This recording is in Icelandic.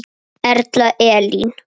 Erla Elín.